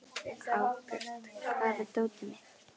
Árbjört, hvar er dótið mitt?